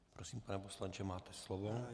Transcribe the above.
Prosím pane poslanče, máte slovo.